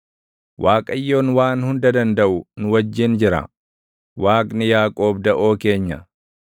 Waaqayyoon Waan Hunda Dandaʼu nu wajjin jira; Waaqni Yaaqoob daʼoo keenya.